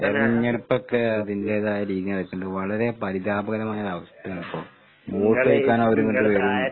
തെരഞ്ഞെടുപ്പൊക്കെ അതിന്റേതായ രീതീല് നടക്ക്ണ്ട്. വളരെ പരിതാപകരമായൊരവസ്ഥയാണിപ്പോ. വോട്ട് ചോയിക്കാനവരിങ്ങട്ട് വരും.